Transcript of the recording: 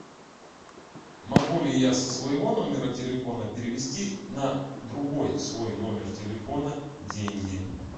могу ли я со своего номера телефона перевести на другой свой номер телефона деньги